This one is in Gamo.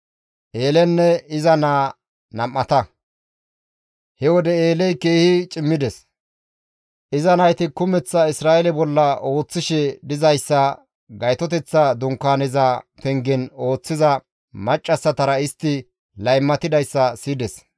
He wode Eeley keehi cimmides; iza nayti kumeththa Isra7eele bolla ooththishe dizayssa, gaytoteththa dunkaaneza pengen ooththiza maccassatara istti laymatidayssa siyides.